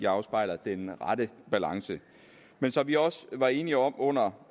afspejler den rette balance men som vi også var enige om under